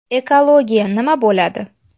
Ekologiya nima bo‘ladi?